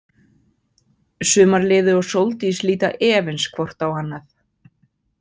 Sumarliði og Sóldís líta efins hvort á annað.